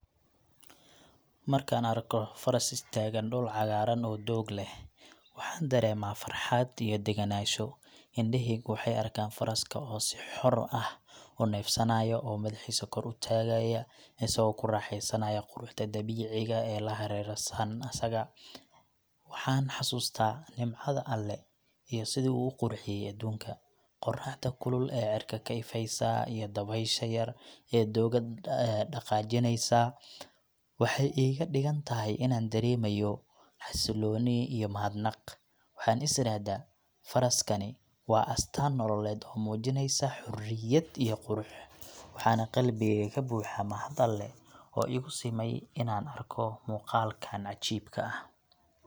Markaan arko faras istaagan dhul cagaaran oo doog leh, waxaan dareemaa farxad iyo degenaansho. Indhahaygu waxay arkaan faraska oo si xor ah u neefsanayo, oo madaxiisa kor u taagaya, isagoo ku raaxaysanaya quruxda dabiiciga ah eela hareersan asaga. Waxaan xasuustaa nimcada Alle iyo sida uu u qurxiyay adduunka. Qorraxda kulul ee cirka ka ifaysa iyo dabaysha yar ee doogga dhaqaajinaysa waxay iga dhigaan inaan dareemo xasillooni iyo mahadnaq. Waxaan is iraahdaa, Faraskani waa astaan nololeed oo muujinaysa xorriyad iyo qurux, waxaana qalbigeyga ka buuxa mahad Alle oo igu simay inaan arko muuqaalkan cajiibka ah.